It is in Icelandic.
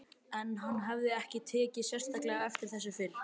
En hann hafði ekki tekið sérstaklega eftir þessu fyrr.